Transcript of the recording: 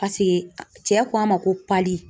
cɛ ko a ma ko pali